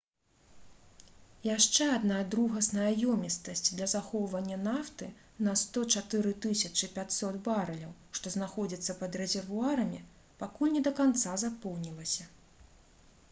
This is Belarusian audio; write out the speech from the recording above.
яшчэ адна другасная ёмістасць для захоўвання нафты на 104 500 барэляў што знаходзіцца пад рэзервуарамі пакуль не да канца запоўнілася